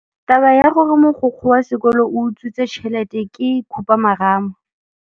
Taba ya gore mogokgo wa sekolo o utswitse tšhelete ke khupamarama.